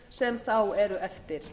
sem þá eru eftir